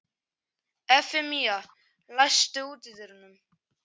Evfemía, læstu útidyrunum.